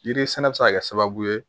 Yiri sɛnɛ bɛ se ka kɛ sababu ye